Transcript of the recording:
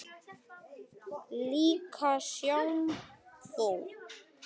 Líka sjampó.